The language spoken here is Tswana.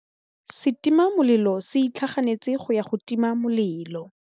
Setima molelô se itlhaganêtse go ya go tima molelô.